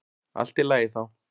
Allt í lagi þá.